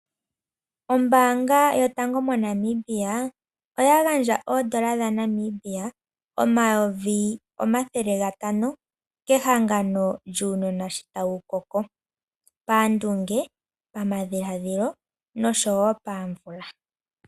Ombaanga yotango moNamibia oya gandja oondola dhaNamibia omayovi omathele gatano kehangano lyuunona sho tawu koko pandunge, pamadhiladhilo nosho woo pamvula.